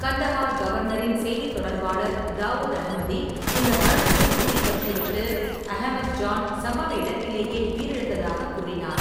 கந்தஹார் கவர்னரின் செய்தித் தொடர்பாளர் தாவூத் அஹ்மதி இந்த மரணத்தை உறுதிப்படுத்திவிட்டு, அகமது-ஜான் சம்பவ இடத்திலேயே உயிரிழந்ததாகக் கூறினார்.